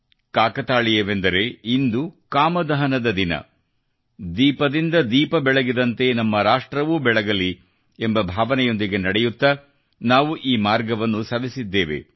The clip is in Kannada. ಕಾಕತಾಳೀಯವೆಂದರೆ ಇಂದು ಕಾಮದಹನದ ದಿನ ದೀಪದಿಂದ ದೀಪ ಬೆಳಗಿದಂತೆ ನಮ್ಮ ರಾಷ್ಟ್ರವೂ ಬೆಳಗಲಿ ಎಂಬ ಭಾವನೆಯೊಂದಿಗೆ ನಡೆಯುತ್ತಾ ನಾವು ಈ ಮಾರ್ಗವನ್ನು ಸವೆಸಿದ್ದೇವೆ